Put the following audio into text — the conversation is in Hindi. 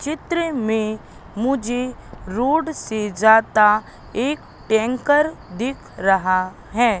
चित्र में मुझे रोड से जाता एक टैंकर दिख रहा है।